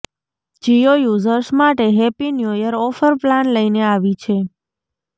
Jio users માટે happy new year offer plan લઈને આવી છે